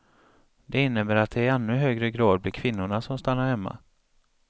Det innebär att det i ännu högre grad blir kvinnorna som stannar hemma.